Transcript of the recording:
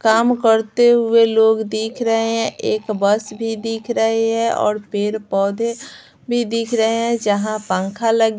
काम करते हुए लोग दिख रहे हैं एक बस भी दिख रही है और पेड़-पौधे भी दिख रहे हैं जहां पंखा लग --